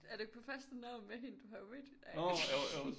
Er du ikke på første navn med hende du har jo mødt hende